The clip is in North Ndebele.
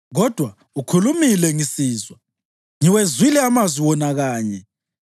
Kodwa ukhulumile ngisizwa, ngiwezwile amazwi wona kanye,